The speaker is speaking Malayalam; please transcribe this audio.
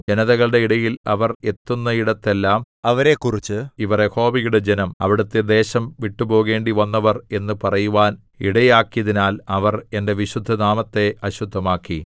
ജനതകളുടെ ഇടയിൽ അവർ എത്തുന്നയിടത്തെല്ലാം അവരെക്കുറിച്ച് ഇവർ യഹോവയുടെ ജനം അവിടുത്തെ ദേശം വിട്ടുപോകേണ്ടിവന്നവർ എന്ന് പറയുവാൻ ഇടയാക്കിയതിനാൽ അവർ എന്റെ വിശുദ്ധനാമത്തെ അശുദ്ധമാക്കി